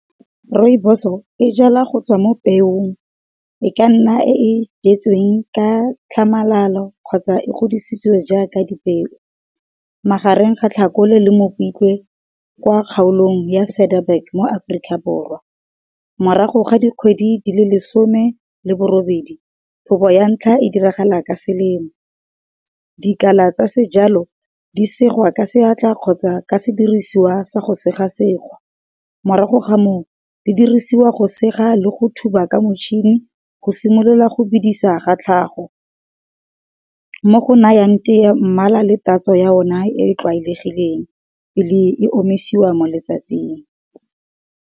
Rooiboso e jalwa go tswa mo peong, e ka nna e jetsweng ka tlhamalalo kgotsa e godisitswe jaaka di peo. Magareng ga tlhakole le mopitlwe kwa kgaolong ya Cedarburg mo Aforika Borwa. Morago ga dikgwedi di le lesome le borobedi, thobo ya ntlha e diragala ka selemo. Dikala tsa sejalo di segwa ka seatla kgotsa ka sediriswa sa go sega-sega morago ga moo, di dirisiwa go sega le go thuba ka motšhini go simolola go bidisa ga tlhago. Mo go nayang teye mmala le tatso ya ona e tlwaelegileng pele e omisiwa mo letsatsing.